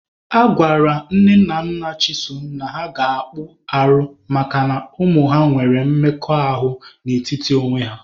Agwara Nne na Nna Chisom na ha ga-akpụ arụ makana ụmụ nwere mmekọahụ n'etiti onwe ha.